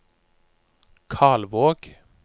Kalvåg